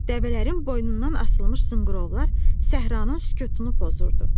Dəvələrin boynundan asılmış zınqrovlar səhranın sükutunu pozurdu.